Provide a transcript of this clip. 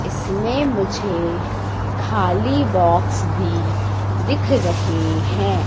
इसमें मुझे खाली बॉक्स भी दिख रहे हैं।